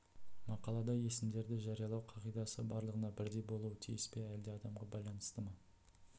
мақалада есімдерді жариялау қағидасы барлығына бірдей болуы тиіс пе әлде адамға байланысты ма